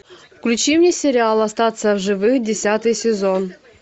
включи мне сериал остаться в живых десятый сезон